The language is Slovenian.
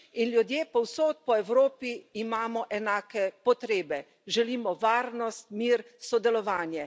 In ljudje povsod po Evropi imamo enake potrebe želimo varnost, mir, sodelovanje.